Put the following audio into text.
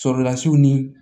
Sɔrɔlasiw ni